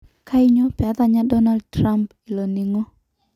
Kanyio petanya Donald Trump iloningo.